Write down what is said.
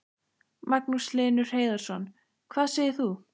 Magnús Hlynur Hreiðarsson: Hvað segir þú?